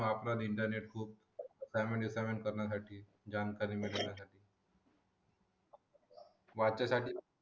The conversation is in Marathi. इंटरनेट खूप सेवेंटी सेव्हन करण्यासाठी करण्यासाठी जानकारी मिळण्यासाठी वाचण्यासाठी